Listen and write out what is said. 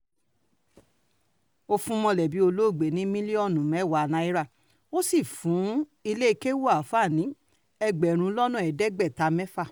ó fún mọ̀lẹ́bí olóògbé ní mílíọ̀nù mẹ́wàá náírà ó sì fún iléèkéwu ááfáà yìí ní ẹgbẹ̀rún lọ́nà ẹ̀ẹ́dẹ́gbẹ̀ta náírà